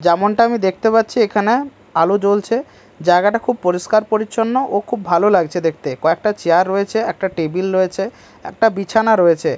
যেমনটা আমি দেখতে পাচ্ছি এখানে আলো জ্বলছে জায়গাটা খুব পরিষ্কার পরিচ্ছন্ন ও খুব ভালো লাগছে দেখতে কয়েকটা চেয়ার রয়েছে একটা টেবিল রয়েছে একটা বিছানা রয়েছে।